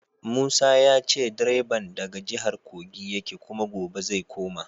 Musa ya ce direban daga jihar Kogi yake kuma gobe zai koma.